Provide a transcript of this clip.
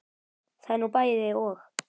Það er nú bæði og.